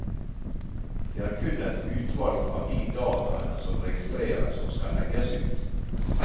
Det er kun et utvalg av de dataene som registreres som skal legges ut.